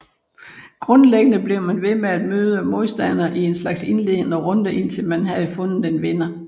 Grundlæggende blev man ved med at møde modstandere i en slags indledende runder indtil man havde fundet en vinder